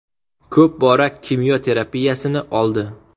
Ko‘p bora kimyo terapiyasini oldi.